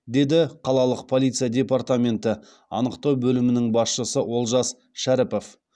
деді қалалық полиция департаменті анықтау бөлімінің басшысы олжас шәріпов